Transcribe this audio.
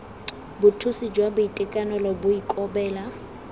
bothusi jwa boitekanelo bo ikobela